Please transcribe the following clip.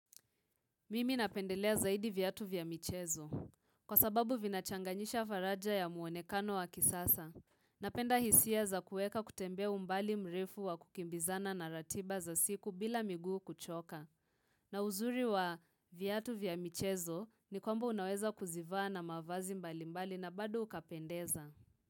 Mimi napendelea zaidi viatu vya michezo. Kwa sababu vinachanganyisha faraja ya muonekano wa kisasa. Napenda hisia za kueka kutembea umbali mrefu wa kukimbizana na ratiba za siku bila miguu kuchoka. Na uzuri wa viatu vya michezo ni kwamba unaweza kuzivaa na mavazi mbali mbali na bado ukapendeza.